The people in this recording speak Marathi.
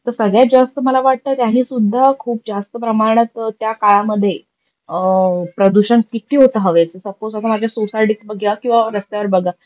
त सगळ्यात जास्त मला वाटत त्याने सुद्धा खूप जास्त प्रमाणात त्या काळामध्ये प्रदूषण किती होत हवेत. सपोज आपण आपण आपल्या सोसायटीत बगुया किवा रस्त्यावर बगा